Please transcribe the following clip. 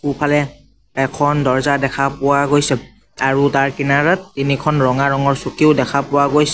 সোঁফালে এখন দৰ্জা দেখা পোৱা গৈছে আৰু তাৰ কিনাৰত তিনিখন ৰঙা ৰঙৰ চকীও দেখা পোৱা গৈছে।